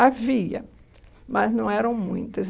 Havia, mas não eram muitas.